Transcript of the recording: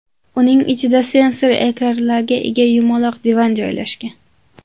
Uning ichida sensor ekranlarga ega yumaloq divan joylashgan.